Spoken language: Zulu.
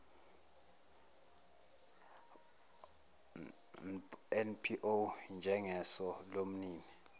npo njengeso lomnini